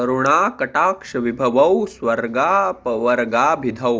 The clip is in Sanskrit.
करुणाकटाक्षविभवौ स्वर्गापवर्गाभिधौ